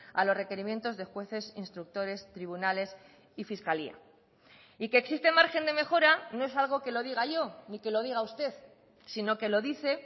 a los requerimientos de jueces instructores tribunales y fiscalía y que existe margen de mejora no es algo que lo diga yo ni que lo diga usted sino que lo dice